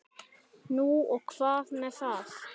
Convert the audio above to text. Nú og hvað með það?